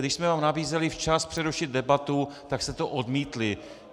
Když jsme vám nabízeli včas přerušit debatu, tak jste to odmítli.